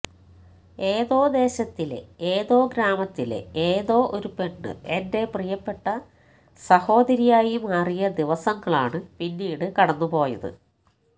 ഏതോ ദേശത്തിലെ ഏതോ ഗ്രാമത്തിലെ ഏതോ ഒരു പെണ്ണ് എന്റെ പ്രിയപ്പെട്ട സഹോദരിയായി മാറിയ ദിവസങ്ങളാണ് പിന്നീട് കടന്നുപോയത്